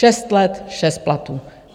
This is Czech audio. Šest let šest platů.